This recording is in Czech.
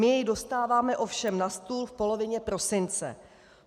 My jej dostáváme ovšem na stůl v polovině prosince.